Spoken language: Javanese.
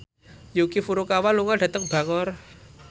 Yuki Furukawa lunga dhateng Bangor